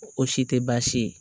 O si tɛ baasi ye